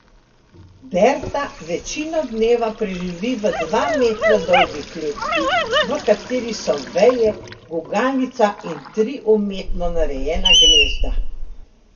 Berta večino dneva preživi v dva metra dolgi kletki, v kateri so veje, gugalnica in tri umetno narejena gnezda.